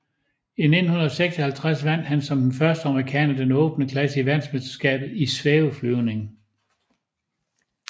I 1956 vandt han som den første amerikaner den åbne klasse i verdensmesterskabet i svæveflyvning